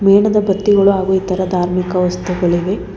ಮೇನದ ಬತ್ತಿಗಳು ಹಾಗು ಇತರ ಧಾರ್ಮಿಕ ವಸ್ತುಗಳಿವೆ.